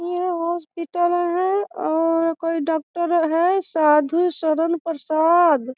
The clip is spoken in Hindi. ये हॉस्पिटल हैं और कोई डॉक्टर हैं साधु सदन प्रसाद।